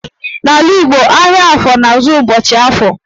N'ala Igbo, ahịa afọ na-ezu ụbọchị Afọ